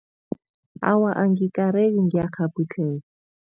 Awa, angikareki, ngiyakghabhudlheka.